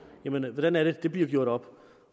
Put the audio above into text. hvordan det er det bliver gjort op